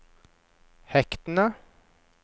hektene